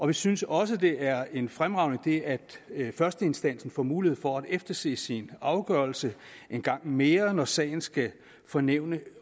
vi synes også det er en fremragende idé at at førsteinstansen får mulighed for at efterse sin afgørelse en gang mere når sagen skal for nævnet